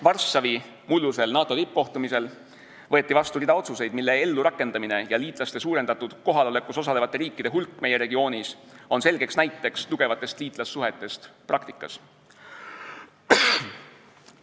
Varssavis toimunud mullusel NATO tippkohtumisel võeti vastu rida otsuseid, mille ellurakendamine, nagu ka liitlaste suurendatud kohalolekus osalevate riikide hulk meie regioonis on selge näide tugevate liitlassuhete kohta praktikas.